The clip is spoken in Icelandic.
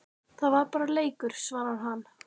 Það var bara leikur, svarar hann.